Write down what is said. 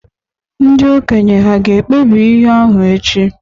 Ndị okenye hà ga-ekpebi ihe ahụ echi?